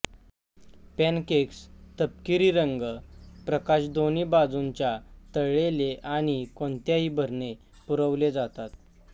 pancakes तपकिरी रंग प्रकाश दोन्ही बाजूंच्या तळलेले आणि कोणत्याही भरणे पुरवले जातात